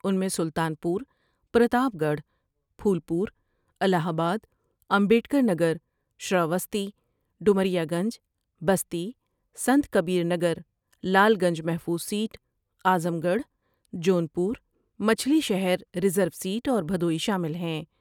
ان میں Sultanpur, Pratapgarh, Phulpur, Allahabad, Ambedkarnagar, Shravasti, Domariyaganj Basti, Sant Kabir Nagar, Lalganj محفوظ seat, Azamgarh, Jaunpur, Machhlishahr, reserve seat اور مھدوئی شامل ہیں ۔